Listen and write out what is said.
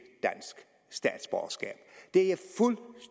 dansk statsborgerskab det er